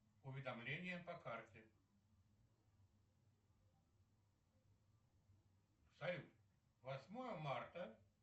уведомления по карте салют восьмое марта